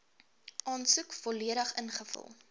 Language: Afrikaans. aansoek volledig ingevul